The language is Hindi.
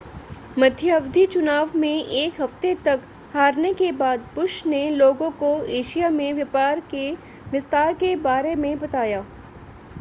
मध्यावधि चुनाव में एक हफ्ते तक हारने के बाद बुश ने लोगों को एशिया में व्यापार के विस्तार के बारे में बताया